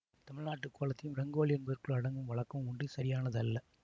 தமிழ்நாட்டுக் கோலத்தையும் ரங்கோலி என்பதற்குள் அடக்கும் வழக்கமும் உண்டு இது சரியானது அல்ல